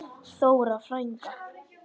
Þóra frænka.